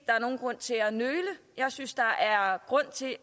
er nogen grund til at nøle jeg synes der er grund til at